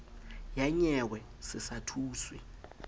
ya nyewe se sa thuswe